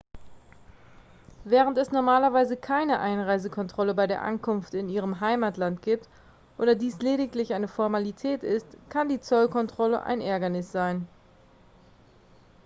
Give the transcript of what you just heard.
während es normalerweise keine einreisekontrolle bei der ankunft in ihrem heimatland gibt oder dies lediglich eine formalität ist kann die zollkontrolle ein ärgernis sein